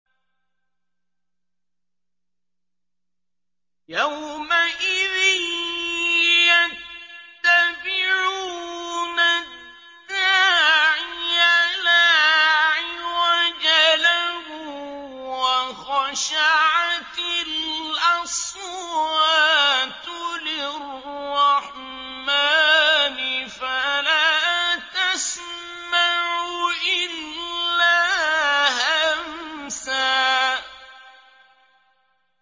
يَوْمَئِذٍ يَتَّبِعُونَ الدَّاعِيَ لَا عِوَجَ لَهُ ۖ وَخَشَعَتِ الْأَصْوَاتُ لِلرَّحْمَٰنِ فَلَا تَسْمَعُ إِلَّا هَمْسًا